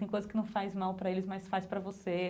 Tem coisas que não faz mal para eles, mas faz para você.